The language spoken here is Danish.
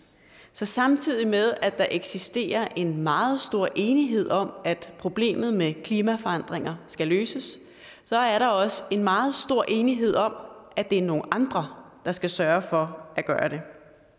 så samtidig med at der eksisterer en meget stor enighed om at problemet med klimaforandringer skal løses så er der også en meget stor enighed om at det er nogle andre der skal sørge for at gøre